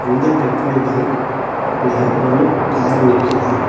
இந்த petrol bunk லெ ஒரு கார் நிக்கிது.